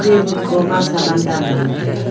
tabun khoma saman dan ley ngan taiga.